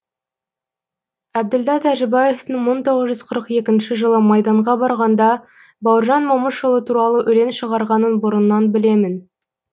әбділда тәжібаевтың мың тоғыз жүз қырық екінші жылы майданға барғанда бауыржан момышұлы туралы өлең шығарғанын бұрыннан білемін